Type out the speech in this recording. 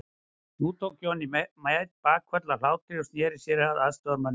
Nú tók Johnny Mate bakföll af hlátri og sneri sér að aðstoðarmönnum sínum.